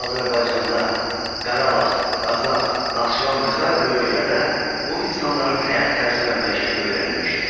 Azərbaycanda Qarabağ, Qazax, Naxçıvan və sairə bölgələrdə bu insanların həyat tərzi və məişəti öyrənilmişdir.